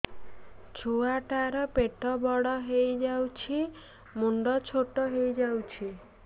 ଛୁଆ ଟା ର ପେଟ ବଡ ହେଇଯାଉଛି ମୁଣ୍ଡ ଛୋଟ ହେଇଯାଉଛି